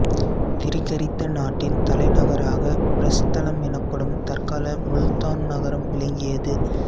திரிகர்த்த நாட்டின் தலைநகராக பிரஸ்தலம் எனப்படும் தற்கால முல்தான் நகரம் விளங்கியது